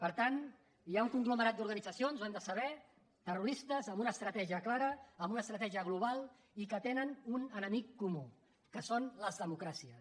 per tant hi ha un conglomerat d’organitzacions ho hem de saber terroristes amb una estratègia clara amb una estratègia global i que tenen un enemic comú que són les democràcies